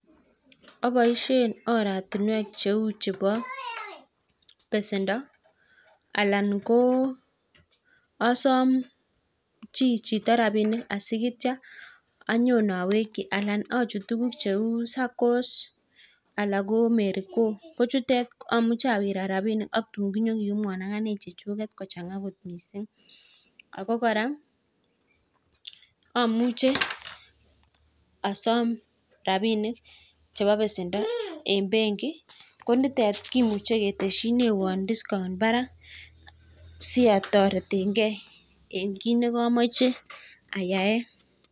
Oboisien oratinwek cheu chebo besendo anan ko osom chi chito rabinik asigityan anyon oweki alan ochut tuguk cheu [saccos] anan ko [ Merry go] kochutet amuche awirat rabinik AK tun kinyokiyumwan agane chechuket kochanga kot mising ago korak omuche osom rabinik chebo besendo eng benki konitet iih kimuche ketesyinewon [ discount] barak si otoretengen eng kit nekomoche ayaen.